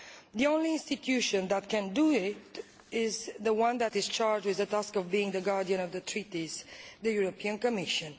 The only institution that can do it is the one that is charged with the task of being the guardian of the Treaties, the European Commission.